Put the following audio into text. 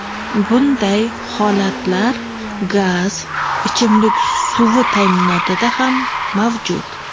Bunday holatlar gaz, ichimlik suvi ta’minotida ham mavjud.